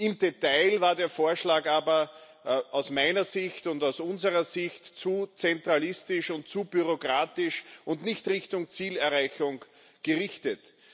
Im Detail war der Vorschlag aber aus meiner Sicht und aus unserer Sicht zu zentralistisch und zu bürokratisch und nicht Richtung Zielerreichung gerichtet.